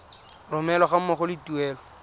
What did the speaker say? romelwa ga mmogo le tuelo